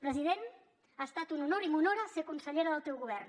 president ha estat un honor i m’honora ser consellera del teu govern